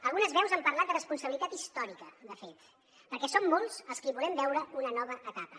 algunes veus han parlat de responsabilitat històrica de fet perquè som molts els que hi volem veure una nova etapa